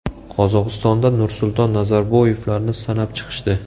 Qozog‘istonda Nursulton Nazarboyevlarni sanab chiqishdi.